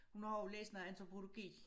Hun har også læst noget antropologi